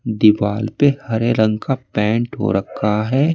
दीवार पे हरे रंग का पेंट हो रखा है।